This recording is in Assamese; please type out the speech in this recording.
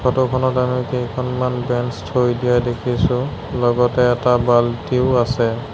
ফটো খনত আমি কেইখনমান বেঞ্চ থৈ দিয়া দেখিছোঁ লগতে এটা বাল্টিও আছে।